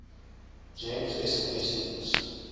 gems sms diens